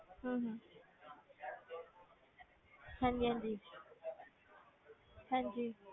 ਹਮ ਹਾਂਜੀ ਹਾਂਜੀ ਹਾਂਜੀ